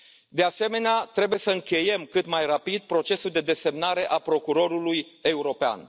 De asemenea, trebuie să încheiem cât mai rapid procesul de desemnare a procurorului european.